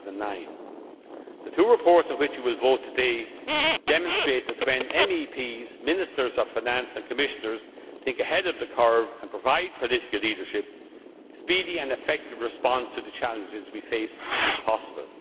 of 2009. The two reports on which you will vote today demonstrate that, when MEPs, Ministers of Finance and Commissioners think ahead of the curve and provide political leadership, a speedy and effective response to the challenges we face is possible.